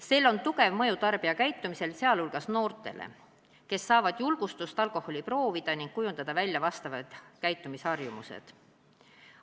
Sel on tugev mõju tarbijakäitumisele, sh noortele, kes saavad julgustust alkoholi proovida ning kujundada välja vastavad käitumisharjumused.